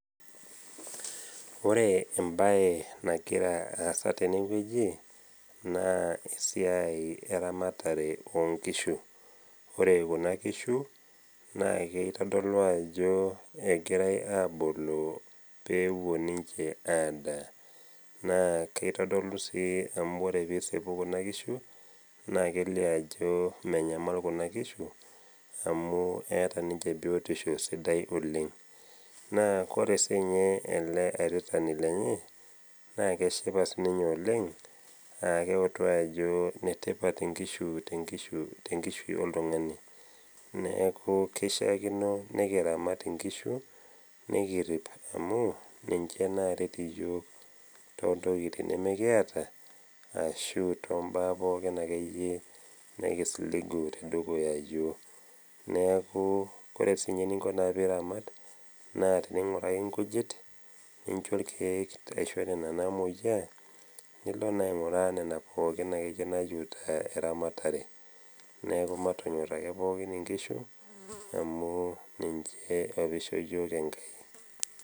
Ore embae nagira aasa tenewueji, naa esiai eramatare o nkishu. Ore kuna kishu, naa eitodolu ajo egirai aboloo pewuo ninche adaa, naa keitodolu sii amu ore pee isipu kuna kishu naa kelio ajo menyamal kuna kishu amu eata ninche biotisho sidai oleng. Naa ore siininye ele airitani lenye, naa keshipa siininye oleng naa keutu ajo enetipat inkishu tenkishui oltung'ani. Neaku eishakino nekiramat inkishu nekirip amu ninche naret iyook too ntokitin nemekiata ashu too mbaa pookin akeyie nekisiligu tedukuya iyook. Neaku ore naa eninko naa pe iramat, naa teneing'uraki inkujit, nincho ilkeek nena namoyia, nilo naa aing'uraa nena pookin nayeuta eramatare. Neaku matonyor ake pookin inkishu, amu ninche opa ishoo yook Enkai.